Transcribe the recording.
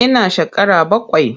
Ina shekara bakwai.